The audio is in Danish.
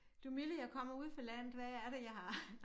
Du milde jeg kommer ude fra landet hvad er det jeg har